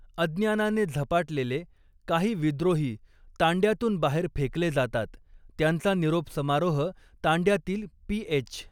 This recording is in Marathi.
अज्ञानाने झपाटलेले काही विद्रोही तांड्यातून बाहेर फेकले जातात, त्यांचा निरोप समारोह तांड्यातील पीएच.